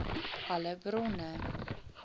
alle bronne